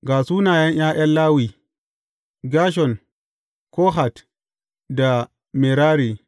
Ga sunayen ’ya’yan Lawi, Gershon, Kohat da Merari.